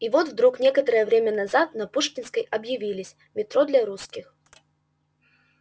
и вот вдруг некоторое время назад на пушкинской объявились метро для русских